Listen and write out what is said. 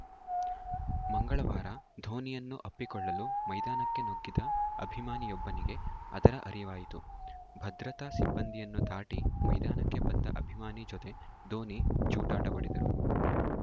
ಮಂಗಳವಾರ ಧೋನಿಯನ್ನು ಅಪ್ಪಿಕೊಳ್ಳಲು ಮೈದಾನಕ್ಕೆ ನುಗ್ಗಿದ ಅಭಿಮಾನಿಯೊಬ್ಬನಿಗೆ ಅದರ ಅರಿವಾಯಿತು ಭದ್ರತಾ ಸಿಬ್ಬಂದಿಯನ್ನು ದಾಟಿ ಮೈದಾನಕ್ಕೆ ಬಂದ ಅಭಿಮಾನಿ ಜತೆ ಧೋನಿ ಜೂಟಾಟವಾಡಿದರು